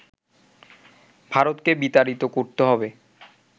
ভারতকে বিতাড়িত করতে হবে